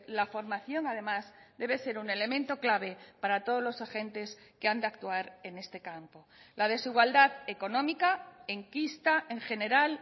la formación además debe ser un elemento clave para todos los agentes que han de actuar en este campo la desigualdad económica enquista en general